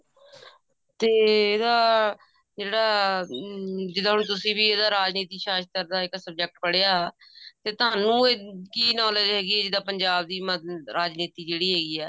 ਤੇ ਇਹਦਾ ਜਿਹੜਾ ਜਿਹੜਾ ਹੁਣ ਤੁਸੀਂ ਵੀ ਇਹਦਾ ਰਾਜਨੀਤੀ ਸ਼ਾਸਤਰ ਦਾ ਇੱਕ subject ਪੜ੍ਹਿਆ ਤੇ ਤੁਹਾਨੂੰ ਕਿ knowledge ਹੈਗੀ ਜਿੱਦਾਂ ਪੰਜਾਬ ਦੀ ਰਾਜਨੀਤੀ ਜਿਹੜੀ ਆਈ ਹੈ